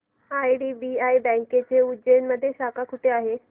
IDBI बँकेची उज्जैन मध्ये शाखा कुठे आहे